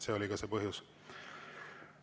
See oli see põhjus.